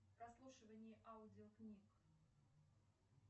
прослушивание аудиокниг